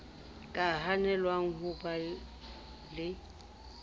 ka hanelwang ho ba le